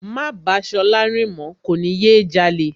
Má bàá Ṣọlá rìn mọ̀ọ́, kò ní yé jalè